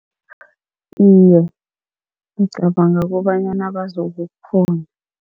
Iye, ngicabanga kobanyana bazokukghona.